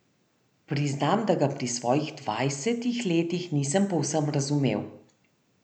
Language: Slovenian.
Priznam, da ga pri svojih dvajsetih letih nisem povsem razumel.